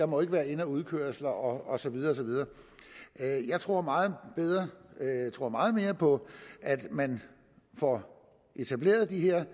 må være ind og udkørsler og så videre og så videre jeg tror meget tror meget mere på at man får etableret det her